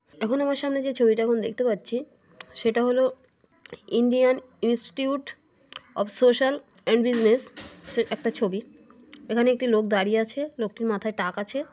এখন আমার সামনে যে ছবিটা আছে সেই ছবিটাই দেখতে পাচ্ছি Indian Institute of Social and Business -এর একটা ছবি। এখানে একটি লোক দাঁড়িয়ে আছে লোকটির মাথায় টাক আছে।